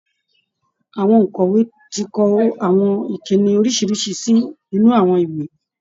Àwọn òǹkọ̀wé ti kọ àwọn ìkínni lóriṣìíríṣìí sí inú àwọn ìwé